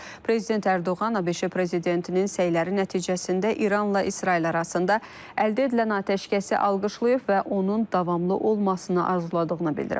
Prezident Ərdoğan ABŞ prezidentinin səyləri nəticəsində İranla İsrail arasında əldə edilən atəşkəsi alqışlayıb və onun davamlı olmasını arzuladığını bildirib.